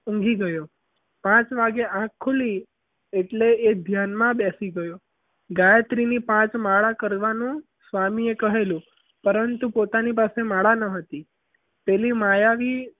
ઊંઘી ગયો પાંચ વાગ્યે આંખ ખુલી એટલે એ ધ્યાનમાં બેસી ગયો ગાયત્રીની પાંચ માળા કરવાનું સ્વામી એ કહેલું પરંતુ પોતાની પાસે માળા ન હતી. પેલી માયાવી